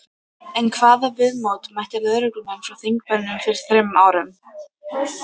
En hvaða viðmóti mættu lögreglumenn frá þingmönnum fyrir þremur árum?